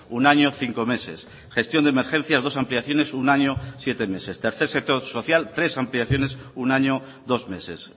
un año cinco meses gestión de emergencias dos ampliaciones un año y siete meses tercer sector social tres ampliaciones un año dos meses